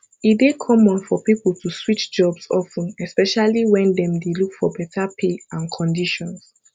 e dey common for people to switch jobs of ten especially when dem dey look for beta pay and conditions